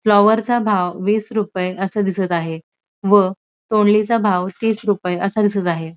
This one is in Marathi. फ्लावर चा भाव वीस रुपय अस दिसत आहे व तोंडली चा भाव तीस रुपय अस दिसत आहे.